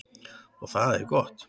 Og það er gott.